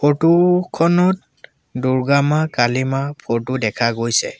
Photo খনত দুৰ্গা মাঁ কালি মাঁ ফটো দেখা গৈছে।